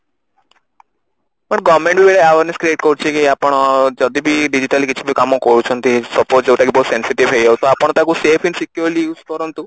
ତାପରେ government ବି awareness create କରୁଛି କି ଆପଣ ଯଦି କି digitally କିଛି କାମ କରୁଛନ୍ତି suppose ଯୋଉଟା କି ବହୁତ sensitive ହେଇଯାଉଛି ତ ଆପଣ ତାକୁ safe and securely use କରନ୍ତୁ